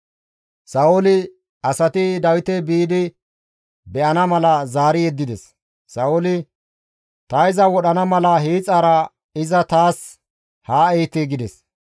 Sa7ooli asati Dawite biidi be7ana mala zaari yeddides; Sa7ooli, «Ta iza wodhana mala hiixaara iza taas haa ehite» gides.